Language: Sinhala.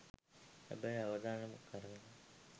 හැබැයි අවදානමක් අරගෙන